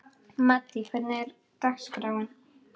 Maddý, hvernig er dagskráin?